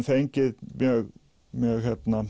fengið mjög mjög